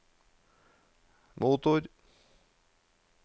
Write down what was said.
motor